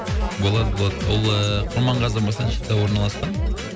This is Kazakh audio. болады болады ол ыыы құрманғазы масанчида орналасқан